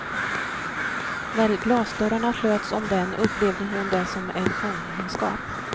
När glasdörrarna slöts om den upplevde hon det som en fångenskap.